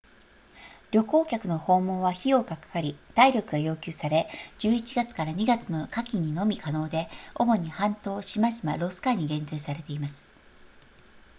旅行客の訪問は費用がかかり体力が要求され11月 ～2 月の夏季にのみ可能で主に半島島々ロス海に限定されています